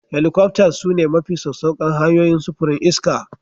Helicopters sune mafi sassauƙan hanyoyin sufurin iska